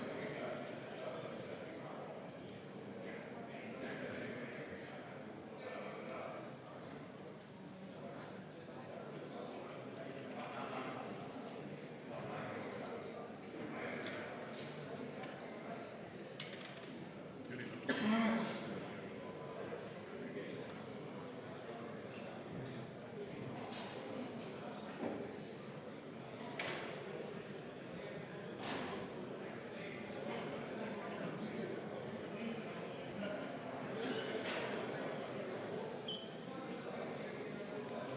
Mul ei ole võimalik selles formaadis eelkõnelejale sisuliselt vastu vaielda, aga ma siiski paluksin, et te parandaksite stenogrammi huvides selle, mida eelkõneleja ütles, et siin oli meil minister Riina Sikkut.